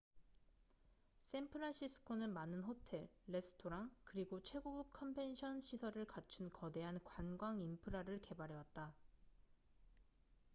샌프란시스코는 많은 호텔 레스토랑 그리고 최고급 컨벤션 시설을 갖춘 거대한 관광 인프라를 개발해왔다